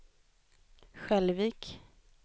Skälvik